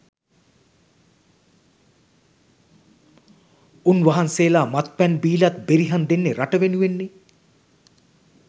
උන්වහන්සේලා මත්පැන් බිලත් බෙරිහන් දෙන්නේ රට වෙනුවෙන්නේ